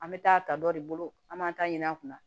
An bɛ taa ta dɔ de bolo an b'an ta ɲini a kunna